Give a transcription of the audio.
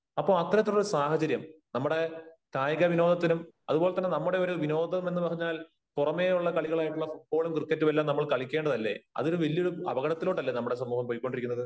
അപ്പോ അത്തരത്തിലുള്ള ഒരു സാഹചര്യം നമ്മുടെ കായിക വിനോദത്തിനും അത് പോലെ തന്നെ നമ്മുടെ ഒരു വിനോദമെന്ന് പറഞ്ഞാൽ പുറമെയുള്ള കളികളായിട്ടുള്ള ഫൂട്ബോളും ക്രിക്കറ്റും എല്ലാം നമ്മൾ കളിക്കേണ്ടതല്ലേ? അതൊരു വലിയ ഒരു അപകടത്തിലോട്ട് അല്ലേ നമ്മുടെ സമൂഹം പൊയ്ക്കൊണ്ടിരിക്കുന്നത്?